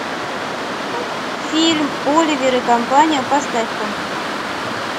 фильм оливер и компания поставь ка